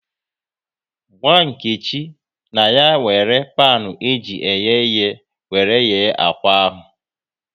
Gwa Nkechi na ya wéré panu eji eghe ighe wéré ghee akwa ahụ